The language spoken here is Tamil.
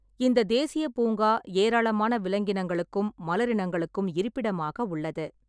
இந்தத் தேசியப் பூங்கா ஏராளமான விலங்கினங்களுக்கும் மலரினங்களுக்கும் இருப்பிடமாக உள்ளது.